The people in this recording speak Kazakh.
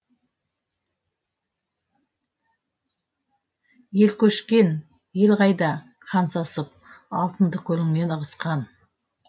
елкөшкен ел қайда хан сасып алтынды көліңнен ығысқан